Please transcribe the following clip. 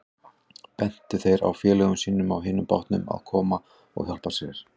Bentu þeir þá félögum sínum á hinum bátnum að koma og hjálpa sér.